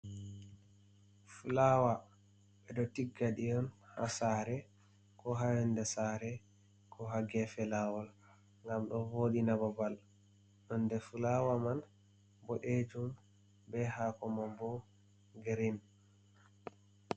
Fuawa ɓe ɗo tigga ɗi on ha sare ko ha yonde sare, ko ha gefe lawol, ngam ɗo voɗi na babal, nonde fulawa man bo boɗejum be hako mam bo grin.